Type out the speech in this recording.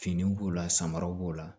Finiw b'o la samaraw b'o la